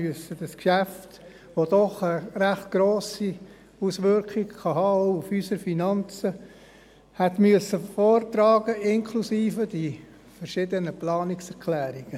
Es wäre für mich sehr schwierig geworden, wenn ich dieses Geschäft, das doch eine recht grosse Auswirkung auf unsere Finanzen haben kann, innerhalb von zwei Minuten hätte vortragen müssen – inklusive der verschiedenen Planungserklärungen.